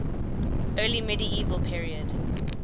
early medieval period